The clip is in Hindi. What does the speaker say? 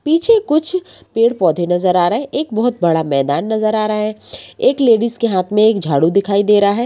पीछे कुछ पेड़-पौधे नजर आ रहे हैं। एक बहोत बड़ा मैदान नजर आ रहा है। एक लेडीस के हाथ मे एक झाड़ू दिखाई दे रहा है।